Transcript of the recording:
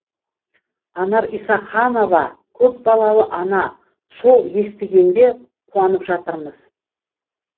анар исаханова көпбалалы ана сол естігенде қуанып жатырмыз